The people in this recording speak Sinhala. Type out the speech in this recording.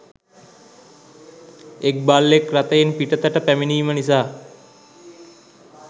එක් බල්ලෙක් රථයෙන් පිටතට පැමිණීම නිසා